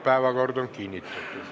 Päevakord on kinnitatud.